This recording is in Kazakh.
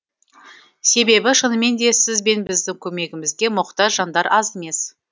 себебі шынымен де сіз бен біздің көмегімізге мұқтаж жандар аз емес